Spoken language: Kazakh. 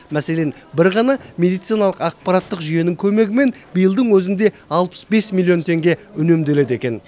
мәселен бір ғана медициналық ақпараттық жүйенің көмегімен биылдың өзінде алпыс бес миллион теңге үнемделеді екен